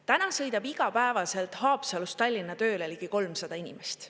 Täna sõidab igapäevaselt Haapsalust Tallinna tööle ligi 300 inimest.